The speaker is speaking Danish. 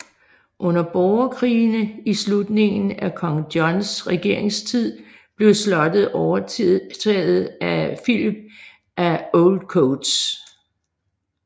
Under borgerkrigene i slutningen af kong Johns regeringstid blev slottet overtaget af Philip af Oldcoates